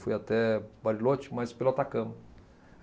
Fui até Bariloche, mas pelo Atacama.